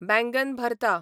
बेंगन भरता